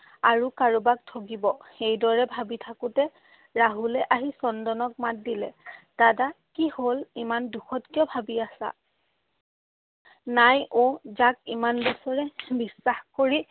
আৰু কাৰোবাক ঠগিব। সেইদৰে ভাবি থাকোতে ৰাহুলে আহি চন্দনক মাত দিলে। দাদা, কি হ'ল, ইমান দুখত কিয় ভাবি আছা? নাই অ', যাক ইমান বছৰে বিশ্বাস কৰি